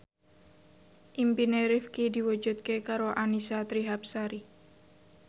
impine Rifqi diwujudke karo Annisa Trihapsari